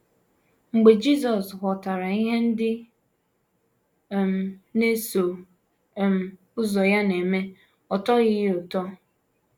Mgbe Jisọs ghọtara ihe ndị um na - eso um ụzọ ya na - eme, ọ tọghị ya ụtọ.